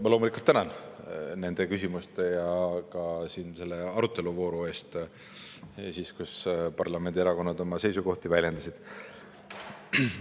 Ma loomulikult tänan nende küsimuste ja ka selle aruteluvooru eest, kus parlamendierakonnad oma seisukohti väljendasid.